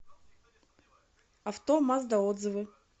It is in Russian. авто мазда отзывы